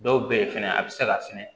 Dɔw bɛ ye fɛnɛ a bɛ se ka sɛnɛ